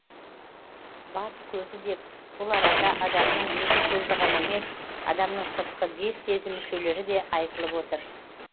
бас көзі деп бұл арада адамның екі көзі ғана емес адамның сыртқы бес сезім мүшелері де айтылып отыр